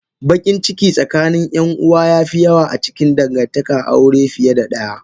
Bakinciki tsakanin yanuwa yafi yawa acikin dangantakan aure fiye da daya.